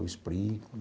Eu explico.